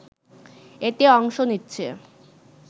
এতে অংশ নিচ্ছে